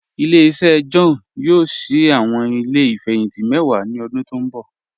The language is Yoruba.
Ile-iṣẹ John yoo ṣii awọn ile ifẹhinti mẹ́wà ni ọ̀dún tó nbọ̀.